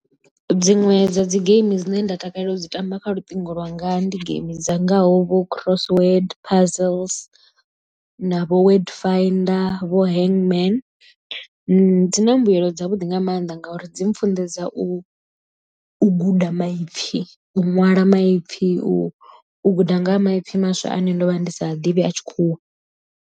Dziṅwe dza dzi geimi dzine nda takalela u dzi tamba kha luṱingo lwanga ndi geimi dzangaho vho crossword puzzles na vho word finder vho hangman dzi na mbuelo dza vhuḓi nga mannḓa ngauri dzi mpfhunḓedza u guda maipfhi u ṅwala maipfhi u guda ngaha maipfi maswa ane ndo vha ndi sa a ḓivhi a tshikhuwa.